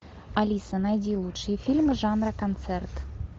алиса найди лучшие фильмы жанра концерт